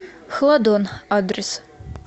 хладон адрес